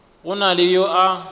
go na le yo a